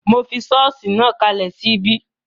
Mo fi sọ́ọ̀sì náà kalẹ̀ sí ibí